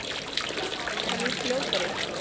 Hann er fljótari.